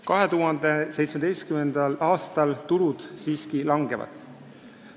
2017. aastal tulud siiski vähenevad.